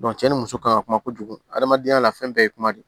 cɛ ni muso ka kan ka kuma kojugu hadamadenya la fɛn bɛɛ ye kuma de ye